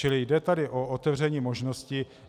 Čili jde tady o otevření možnosti.